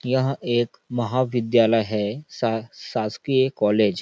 यह एक महा विद्यालय है सा शासकीय कॉलेज --